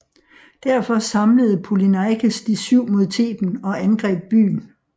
Derfor samlede Polyneikes De syv mod Theben og angreb byen